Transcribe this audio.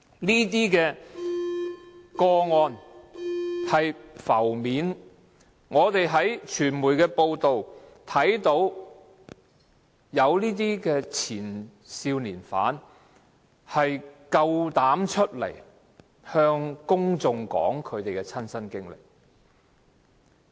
以上個案浮面，我們在傳媒報道中又看到有前少年犯，勇敢站出來向公眾說出其親身經歷。